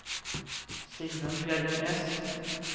Sigmund Bjerknes